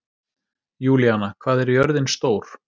Júlíanna, hvað er jörðin stór?